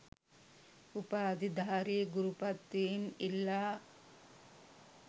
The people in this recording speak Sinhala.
උපාධිධාරී ගුරු පත්වීම් ඉල්ලා